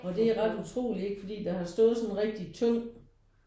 Og det er ret utroligt ikke fordi der har stået sådan et rigtig tyndt